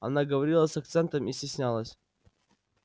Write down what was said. она говорила с акцентом и стеснялась